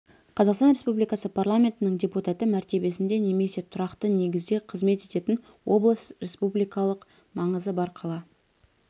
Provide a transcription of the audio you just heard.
қазақстан республикасы парламентінің депутаты мәртебесінде немесе тұрақты негізде қызмет ететін облыс республикалық маңызы бар қала